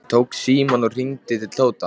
Hann tók símann og hringdi til Tóta.